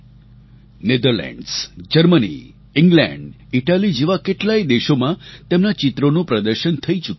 Netherlands Germany England Italy જેવા કેટલાય દેશોમાં તેમના ચિત્રોનું પ્રદર્શન થઈ ચૂક્યું છે